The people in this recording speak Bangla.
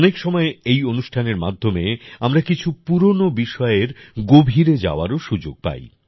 অনেক সময় এই অনুষ্ঠানের মাধ্যমে আমরা কিছু পুরানো বিষয়ের গভীরে যাওয়ারও সুযোগ পাই